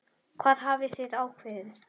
Hvað hafið þið ákveðið?